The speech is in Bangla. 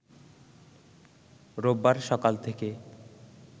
রোববার সকাল থেকে